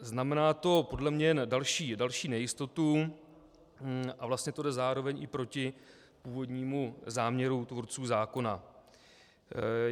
Znamená to podle mě další nejistotu a vlastně to jde zároveň i proti původnímu záměru tvůrců zákona.